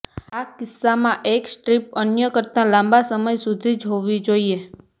આ કિસ્સામાં એક સ્ટ્રીપ અન્ય કરતાં લાંબા સમય સુધી જ હોવી જોઈએ